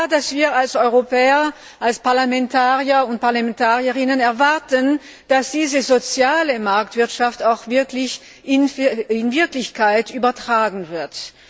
Es ist klar, dass wir als Europäer, als Parlamentarierinnen und Parlamentarier erwarten, dass diese soziale Marktwirtschaft auch in die Wirklichkeit übertragen wird.